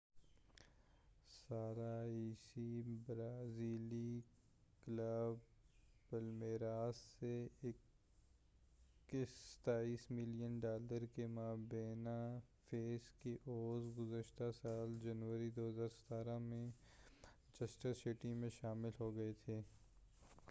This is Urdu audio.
21 سالہ عیسیٰ برازیلی کلب پلمیراس سے 27 ملین ڈالر کی مبینہ فیس کے عوض گذشتہ سال جنوری 2017 میں مانچسٹر سٹی میں شامل ہو گئے تھے